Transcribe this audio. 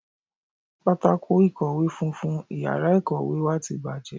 Pátákó ìkọ̀wé funfun yàrá ìkẹ́ẹ̀kọ̀ wa ti bàjẹ́.